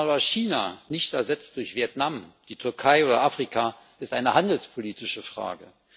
Dass man aber China nicht ersetzt durch Vietnam, die Türkei oder Afrika, ist eine handelspolitische Frage.